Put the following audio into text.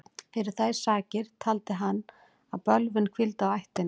Fyrir þær sakir taldi hann að bölvun hvíldi á ættinni.